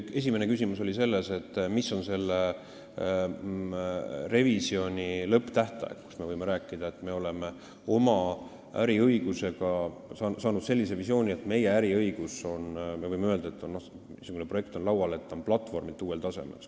Esimene küsimus oli see, mis on selle revisjoni lõpptähtaeg, mis hetkel me oleme äriõiguse kohta saanud sellise visiooni, et laual on platvormi poolest uuel tasemel olev äriõiguse projekt.